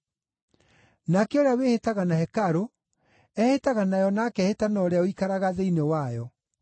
Nake ũrĩa wĩhĩtaga na hekarũ, ehĩtaga nayo na akehĩta na ũrĩa ũikaraga thĩinĩ wayo.